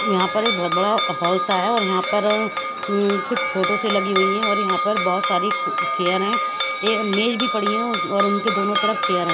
यहाँ पर बहत बड़ा हल सा है और यहाँ पर कुछ फोटो सी लगी हुई है और यहाँ पर बहत सारी कु चेयर है ये मेज भी पड़ी है और और उनके दोनों तरफ चेयर है।